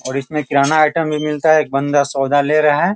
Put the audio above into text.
और इसमें किराना आइटम भी मिलता है एक बंदा सौदा ले रहा है।